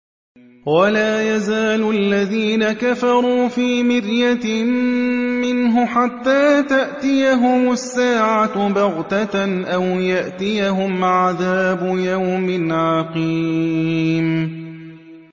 وَلَا يَزَالُ الَّذِينَ كَفَرُوا فِي مِرْيَةٍ مِّنْهُ حَتَّىٰ تَأْتِيَهُمُ السَّاعَةُ بَغْتَةً أَوْ يَأْتِيَهُمْ عَذَابُ يَوْمٍ عَقِيمٍ